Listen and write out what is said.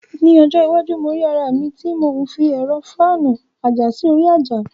Ní ọjọ́ iwájú, mo rí ara mi tí mò ń fi ẹ̀rọ fáànù àjà sí orí àjà.